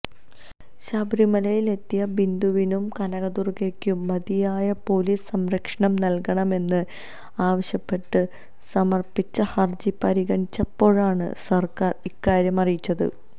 ശബരിമലയിലെത്തിയ ബിന്ദുവിനും കനകദുർഗയ്ക്കും മതിയായ പൊലീസ് സംരക്ഷണം നല്കണമെന്ന് ആവശ്യപ്പെട്ട് സമര്പ്പിച്ച ഹര്ജി പരിഗണിച്ചപ്പോഴാണ് സര്ക്കാര് ഇക്കാര്യം അറിയിച്ചത്